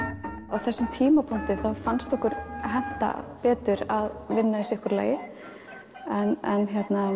á þessum tímapunkti þá fannst okkur henta betur að vinna í sitt hvoru lagi en